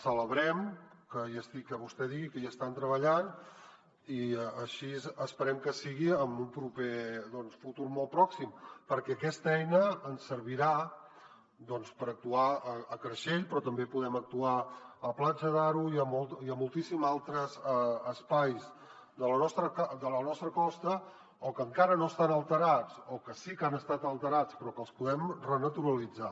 celebrem que vostè digui que hi estan treballant i així esperem que sigui en un proper futur molt pròxim perquè aquesta eina ens servirà doncs per actuar a creixell però també podrem actuar a platja d’aro i a moltíssims altres espais de la nostra costa que encara no estan alterats o que sí que han estat alterats però que els podem renaturalitzar